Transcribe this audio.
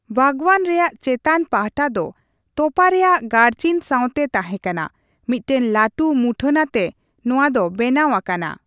ᱵᱟᱜᱽᱣᱟᱱ ᱨᱮᱭᱟᱜ ᱪᱮᱛᱟᱱ ᱯᱟᱦᱴᱟ ᱫᱚ ᱛᱚᱯᱟ ᱨᱮᱭᱟᱜ ᱜᱟᱨᱪᱤᱱ ᱥᱟᱶᱛᱮ ᱛᱟᱦᱮᱸᱠᱟᱱᱟ, ᱢᱤᱫᱴᱮᱱ ᱞᱟᱹᱴᱩ ᱢᱩᱴᱷᱟᱹᱱ ᱟᱛᱮ ᱱᱚᱣᱟ ᱫᱚ ᱵᱮᱱᱟᱣ ᱟᱠᱟᱱᱟ ᱾